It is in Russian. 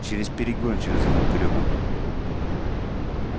через перегон через этот грёбаный